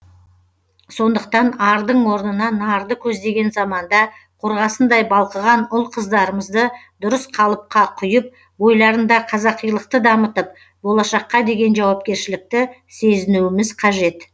сондықтан ардың орнына нарды көздеген заманда қорғасындай балқыған ұл қыздарымызды дұрыс қалыпқа құйып бойларында қазақилықты дамытып болашаққа деген жауапкершілікті сезінуіміз қажет